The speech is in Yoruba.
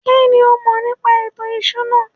kínní o mọ̀ nípa ètò ìṣúná?